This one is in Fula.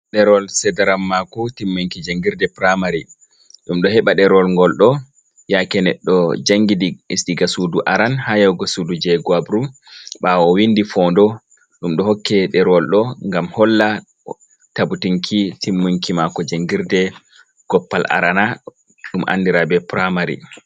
Ɗerwol cedarammaku timmunki jangirɗe puraimari. Ɗum ɗo heɓa ɗerewol gol ɗo yake neɗɗo jangidi ɗiga suɗu aran ha yahugo suɗu jeguabru. Bawo owinɗi fo'onɗo ɗumdo hokke ɗerewol ɗo ngam holla tabbutinki timmunki mako jangirɗe goppal arana, ɗum andira be puraimari.